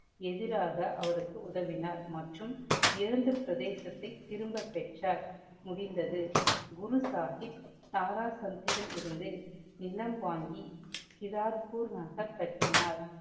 எதிராக அவருக்கு உதவினார் மற்றும் இழந்த பிரதேசத்தை திரும்ப பெற்றார். முடிந்தது. குரு சாஹிப் தாரா சந்திடமிருந்து நிலம் வாங்கி கிடார்பூர் நகர் கட்டினார்.